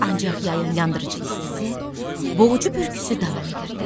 Ancaq yayın yandırıcı istisi, boğucu bürküsü davam edirdi.